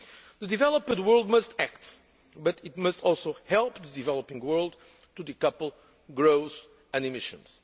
The developed world must act, but it must also help the developing world to decouple growth and emissions.